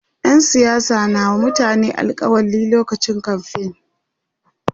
ƴan siyasa na wa mutane alkawali lokacin kamfain